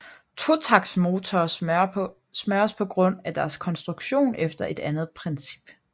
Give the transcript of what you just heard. Totaktsmotorer smøres på grund af deres konstruktion efter et andet princip